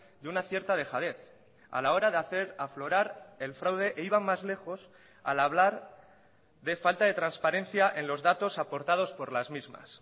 de una cierta dejadez a la hora de hacer aflorar el fraude e iban más lejos al hablar de falta de transparencia en los datos aportados por las mismas